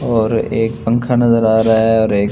और एक पंखा नजर आ रहा है और एक--